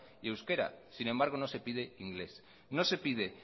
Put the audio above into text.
y euskera sin embargo no se pide inglés no se pide